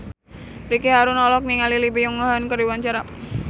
Ricky Harun olohok ningali Lee Byung Hun keur diwawancara